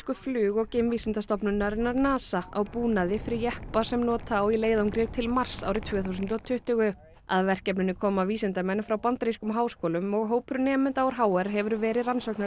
flug og geimvísindastofnunarinnar NASA á búnaði fyrir jeppa sem nota á í leiðangri til Mars árið tvö þúsund og tuttugu að verkefninu koma vísindamenn frá bandarískum háskólum og hópur nemenda úr h r hefur verið